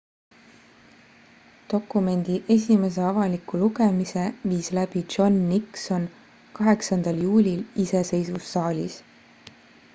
dokumendi esimese avaliku lugemise viis läbi john nixon 8 juulil iseseisvussaalis